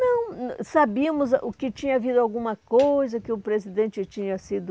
Não, sabíamos o que tinha havido alguma coisa, que o presidente tinha sido...